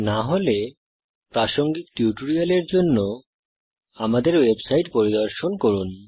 না হলে প্রাসঙ্গিক টিউটোরিয়ালের জন্য আমাদের ওয়েবসাইট পরিদর্শন করুন